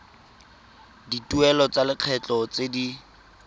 dituelo tsa lekgetho tse di